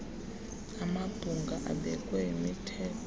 amabhunga abekwe yimithetho